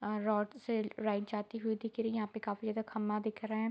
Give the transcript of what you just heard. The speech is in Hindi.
और रौड से राइट जाती हुई दिख रही हैं यहाँ पे काफी ज्यादा खंभा दिख रहें हैं।